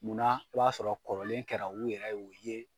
Munna , i b'a sɔrɔ kɔrɔlen kɛra u yɛrɛ y'o ye